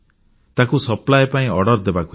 ତାକୁ ସପ୍ଲାଇ ପାଇଁ ଅର୍ଡ଼ର ଦେବାକୁ ହେବ